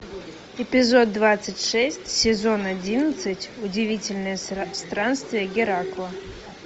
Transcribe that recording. эпизод двадцать шесть сезон одиннадцать удивительные странствия геракла